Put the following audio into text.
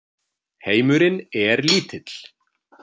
Heimurinn er lítill.